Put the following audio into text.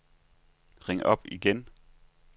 ring op igen